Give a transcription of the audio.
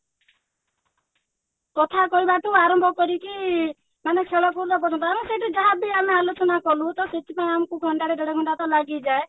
କଥାକହିବା ଠୁ ଆରମ୍ଭ କରିକି ମାନେ ଖେଳକୁଦ ପର୍ଯ୍ୟନ୍ତ ଆମେ ସେଇଠି ଯାହାବି ଆମେ ଆଲୋଚନା କଲୁ ତସେଥିପାଇଁ ଆମକୁ ଘଣ୍ଟାଟେ ଦେଢ ଘଣ୍ଟାତ ଲାଗିଯାଏ